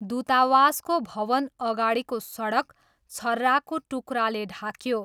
दूतावासको भवन अगाडिको सडक छर्राको टुक्राले ढाक्यो।